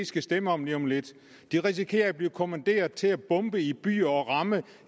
skal stemme om lige om lidt de risikerer at blive kommanderet til at bombe i byer og ramme